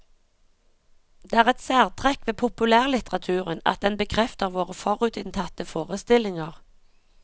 Det er et særtrekk ved populærlitteraturen at den bekrefter våre forutinntatte forestillinger.